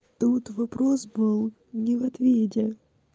тут вопрос был не в ответе